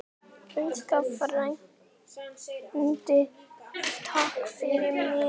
Elsku frændi, takk fyrir mig.